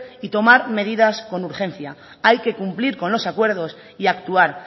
y tomar medidas con urgencia hay que cumplir con los acuerdos y actuar